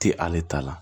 Ti ale ta la